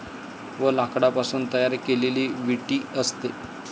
व लाकडापासून तयार केलेली विटी असते ।